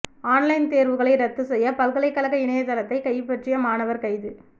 online தேர்வுகளை ரத்து செய்ய பல்கலைக்கழக இணையதளத்தை கைப்பற்றிய மாணவர் கைது